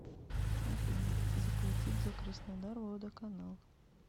афина заплатить за краснодар водоканал